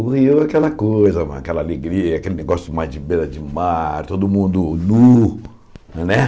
O Rio é aquela coisa lá, aquela alegria, aquele negócio mais de beira-de-mar, todo mundo nu, né?